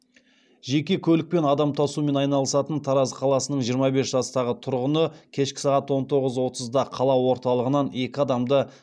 жеке көлікпен адам тасумен айналысатын тараз қаласының жиырма бес жастағы тұрғыны кешкі сағат он тоғыз отызда қала орталығынан екі адамды